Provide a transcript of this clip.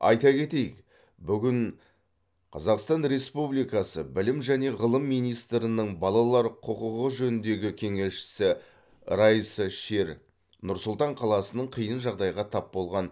айта кетейік бүгін қазақстан республикасы білім және ғылым министрінің балалар құқығы жөніндегі кеңесшісі райса шер нұр сұлтан қаласының қиын жағдайға тап болған